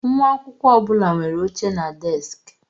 Nwa akwụkwọ ọ bụla nwere oche na deskị.